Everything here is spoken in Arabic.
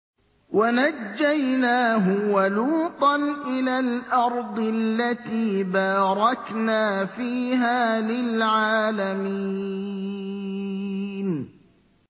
وَنَجَّيْنَاهُ وَلُوطًا إِلَى الْأَرْضِ الَّتِي بَارَكْنَا فِيهَا لِلْعَالَمِينَ